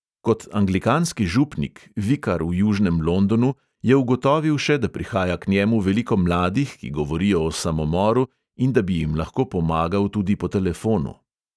Kot anglikanski župnik, vikar v južnem londonu je ugotovil še, da prihaja k njemu veliko mladih, ki govorijo o samomoru, in da bi jim lahko pomagal tudi po telefonu.